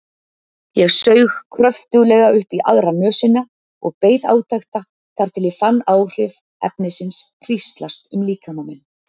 Ég saug kröftuglega upp í aðra nösina og beið átekta þar til ég fann áhrif efnisins hríslast um líkama minn.